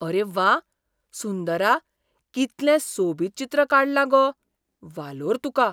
अरे व्वा! सुंदरा, कितलें सोबीत चित्र काडलां गो! वालोर तुका.